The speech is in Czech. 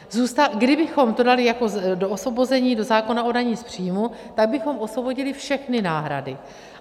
Kdybychom to dali jako do osvobození do zákona o dani z příjmů, tak bychom osvobodili všechny náhrady.